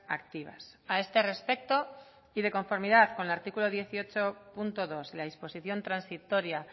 activas a este respecto y de conformidad con el artículo dieciocho punto dos la disposición transitoria